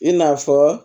I n'a fɔ